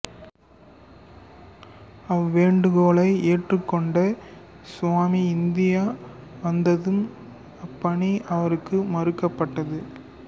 அவ்வேண்டுகோளை ஏற்றுக் கொண்ட சுவாமி இந்தியா வந்ததும் அப்பணி அவருக்கு மறுக்கப்பட்டது